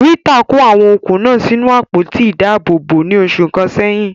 Rita kó àwọn okùn náà sínú àpótí ìdáàbòbò ní oṣù kan sẹ́yìn.